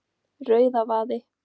Rauðavaði